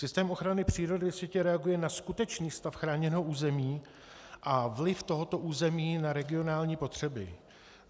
Systém ochrany přírody ve světě reaguje na skutečný stav chráněného území a vliv tohoto území na regionální potřeby.